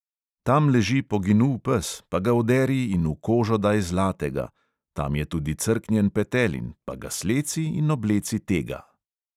"Tam leži poginul pes, pa ga oderi in v kožo daj zlatega; tam je tudi crknjen petelin, pa ga sleci in obleci tega."